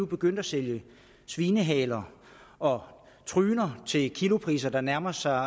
begyndt at sælge svinehaler og tryner til kilopriser der nærmer sig